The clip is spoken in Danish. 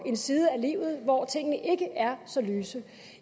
en side af livet hvor tingene ikke er så lyse